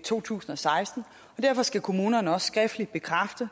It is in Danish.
to tusind og seksten derfor skal kommunerne også skriftligt bekræfte